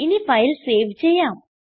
ഇനി file save ചെയ്യാം